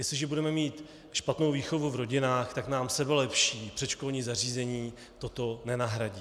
Jestliže budeme mít špatnou výchovu v rodinách, tak nám sebelepší předškolní zařízení toto nenahradí.